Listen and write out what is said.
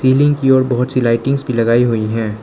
Ceiling की ओर बहुत सी लाइटिंगस भी लगाई हुई हैं।